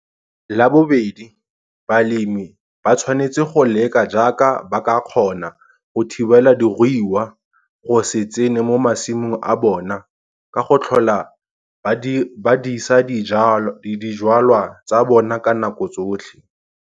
La bobedi, balemi ba tshwanetse go leka jaaka ba ka kgona go thibela diruiwa go se tsene mo masimong a bona ka go tlhola ba disa dijwalwa tsa bona ka nako tsotlhe.